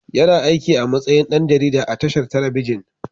Yana aikin a matsayin ɗan jarida a tashar telebijin.